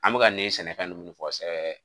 An bɛ ka nin sɛnɛfɛ ninnu fɔ ɛ